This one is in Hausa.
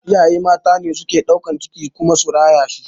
Iyaye mata ne suke ɗaukan ciki su kuma rayata